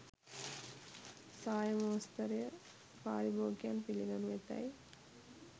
සාය මෝස්තරය පාරිභෝගිකයන් පිළිගනු ඇතැයි